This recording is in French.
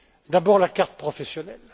D'abord la carte professionnelle.